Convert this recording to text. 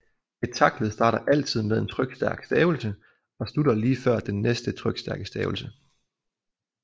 Et taktled starter altid med en trykstærk stavelse og slutter lige før den næste trykstærke stavelse